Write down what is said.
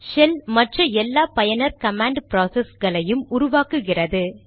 shell மற்ற எல்லா பயனர் கமாண்ட் ப்ராசஸ்களையும் உருவாக்குகிறது